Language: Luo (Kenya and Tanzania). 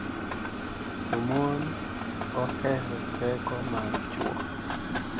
to mon ohero teko mar chwo